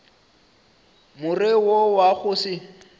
more wo wa go se